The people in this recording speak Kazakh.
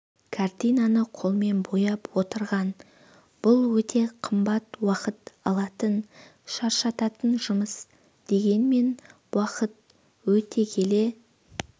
картинаны қолымен бояп отырған бұл өте қымбат уақыт алатын шаршататын жұмыс дегенмен уақыт өте келе